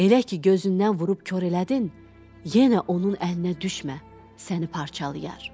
Elə ki, gözündən vurub kor elədin, yenə onun əlinə düşmə, səni parçalayar.